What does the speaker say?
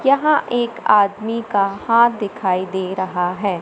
यहां एक आदमी का हाथ दिखाई दे रहा है।